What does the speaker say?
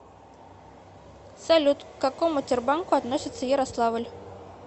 салют к какому тербанку относится ярославль